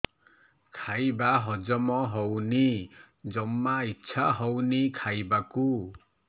ଖାଇବା ହଜମ ହଉନି ଜମା ଇଛା ହଉନି ଖାଇବାକୁ